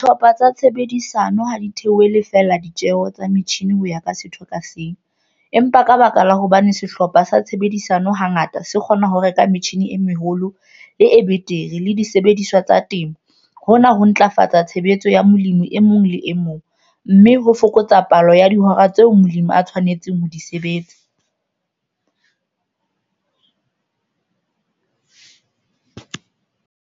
Dihlopha tsa tshebedisano ha di theole feela ditjeo tsa metjhine ho ya ka setho ka seng, empa ka baka la hobane sehlopha sa tshebedisano hangata se kgona ho reka metjhine e meholo le e betere le disebediswa tsa temo, hona ho ntlafatsa tshebetso ya molemi e mong le e mong, mme ho fokotsa palo ya dihora tseo molemi a tshwanetseng ho di sebetsa.